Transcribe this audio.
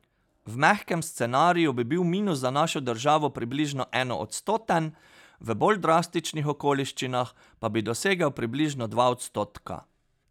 V mehkem scenariju bi bil minus za našo državo približno enoodstoten, v bolj drastičnih okoliščinah pa bi dosegel približno dva odstotka.